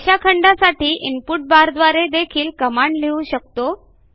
रेषाखंडासाठी input बारद्वारे देखील command लिहू शकतो